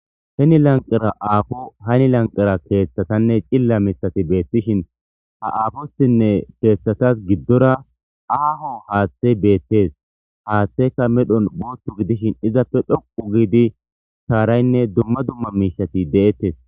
Heni lanqara aafo hani lanqara keeththatanne cilla mitati beettishin ha aafossinne keeththatas giddora aaho haaththey beettes haaththeka medhon booththu gidishin izappe dhoqu giidi saaraynne dumma dumma miishati de7ettes.